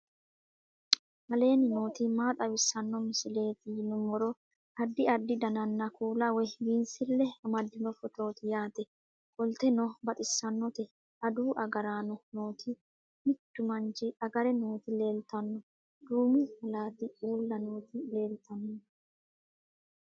aleenni nooti maa xawisanno misileeti yinummoro addi addi dananna kuula woy biinsille amaddino footooti yaate qoltenno baxissannote adawu agaraano nooti mittu manchi agare nooti leeltanno duumu malaati uulla nooti leeltanno